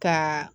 Ka